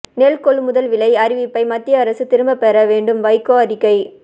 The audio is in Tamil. நெல் கொள்முதல் விலை அறிவிப்பை மத்திய அரசு திரும்பப் பெற வேண்டும் வைகோ அறிக்கை